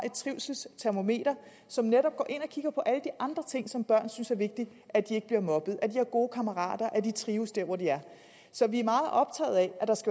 et trivselstermometer som netop går ind og kigger på alle de andre ting som børn synes er vigtige at de ikke bliver mobbet at de har gode kammerater og at de trives der hvor de er så vi